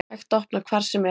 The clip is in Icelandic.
Hægt að opna hvar sem er